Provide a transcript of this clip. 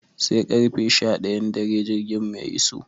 Sai karfe sha ɗayan dare jirgin mu ya iso.